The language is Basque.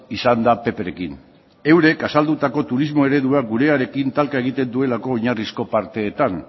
izan da pprekin eurek azaldutako turismo eredua gurearekin talka egiten duelako oinarrizko parteetan